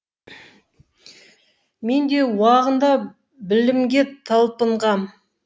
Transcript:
мен де уағында білімге талпынғам